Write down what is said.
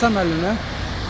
Həsən müəllimə.